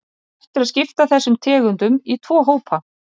Hægt er að skipta þessum tegundum í tvo hópa.